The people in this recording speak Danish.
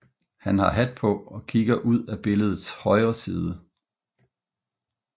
Han har hat på og kigger ud af billedets højre side